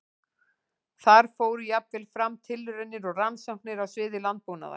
Þar fóru jafnvel fram tilraunir og rannsóknir á sviði landbúnaðar.